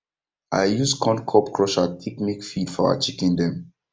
i use corn cob crusher take make feed for our chicken dem